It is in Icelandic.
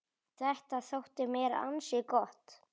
Þetta þótti mér ansi gott.